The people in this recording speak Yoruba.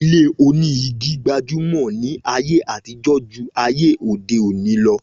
Ilé oní igi gbajúmọ̀ ni ayé àtijó jù ayé òdeòní lọ